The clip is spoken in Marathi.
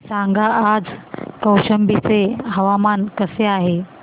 सांगा आज कौशंबी चे हवामान कसे आहे